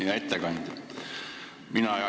Hea ettekandja!